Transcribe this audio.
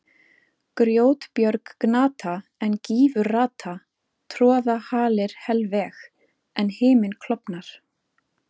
Grjótbjörg gnata, en gífur rata, troða halir helveg, en himinn klofnar.